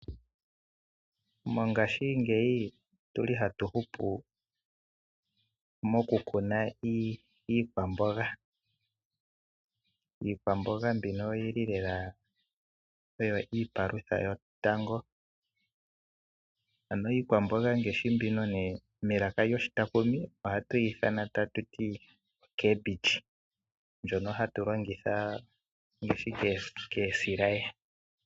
Mongashingeyi otu li hatu hupu mokukuna iikwaamboga. Iikwaamboga mbika oyi li oyo iipalutha yotango. Melaka lyoshitakumi ohayi ithanwa cabbage mbyono hayi longithwa okutulwa kosilaye.